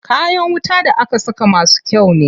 Kayan wuta da aka saka masu kyau ne.